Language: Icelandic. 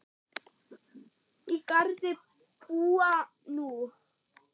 Á Garði búa nú